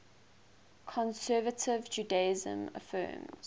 conservative judaism affirms